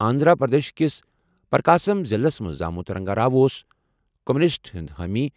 آنٛدھرا پرٛدیش کِس پرٛکاسم ضِلعس منٛز زامُت، رنگا راؤ اوس کمیونسٹن ہُنٛد حٲمی۔